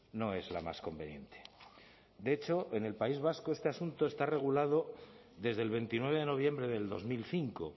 no es la más conveniente de hecho en el país vasco este asunto está regulado desde el veintinueve de noviembre del dos mil cinco